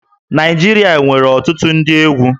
Naịjirịa nwere ọtụtụ ndị egwú